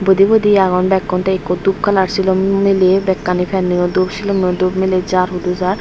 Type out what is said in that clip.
budi budi agon bekkun tey ikko dup kalar silum miley bekkani pennoyo dup silummoyo dup miley jar hudu jar.